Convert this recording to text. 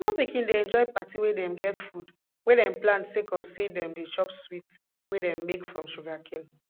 small pikin dey enjoy parti wey dem get food wey dem plant sake of say dem dey chop sweet wey dem make from sugarcane